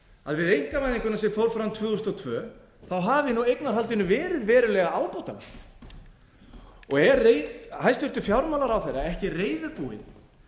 að við einkavæðinguna sem fór fram tvö þúsund og tvö hafi nú eignarhaldinu verið verulega ábótavant er hæstvirtur fjármálaráðherra ekki reiðubúinn